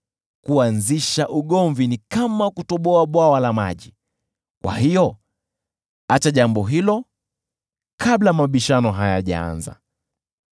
Kuanzisha ugomvi ni kama kutoboa bwawa la maji; kwa hiyo acha jambo hilo kabla mabishano hayajaanza.